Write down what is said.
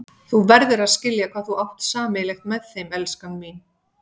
Þú verður að skilja hvað þú átt sameiginlegt með þeim, elskan mín.